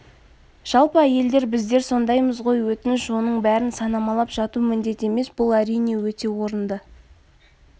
жалпы әйелдер біздер сондаймыз ғой өтініш оның бәрін санамалап жату міндет емес бұл әрине өте орынды